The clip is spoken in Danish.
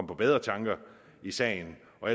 på bedre tanker i sagen og